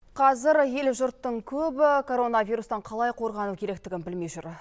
қазір ел жұрттың көбі коронавирустан қалай қорғану керектігін білмей жүр